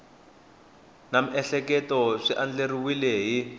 na miehleketo swi andlariwile hi